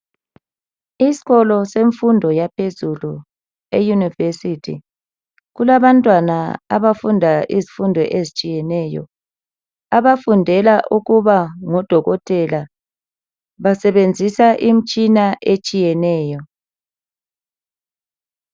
Isikolo semfundo yaphezulu e University . Kulabantwana abafunda izifundo ezitshiyeneyo abafundela ukuba ngo Dokotela . Basebenzisa imitshina etshiyeneyo.